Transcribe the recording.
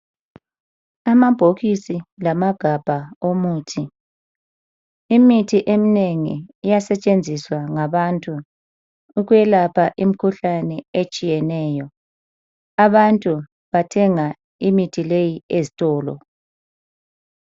Amabhokisi lamagabha omuthi. Imithi eminengi iyasetshenziswa ngabantu ukwelapha imikhuhlane etshiyeneyo . Abantu bathenga imithi leyi ezitolo.